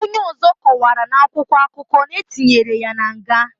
Onye ozo kowara na akwụkwọ akụkọ na etinyere na nga.